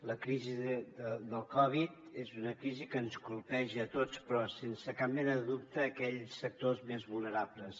la crisi de la covid és una crisi que ens colpeja a tots però sense cap mena de dubte aquells sectors més vulnerables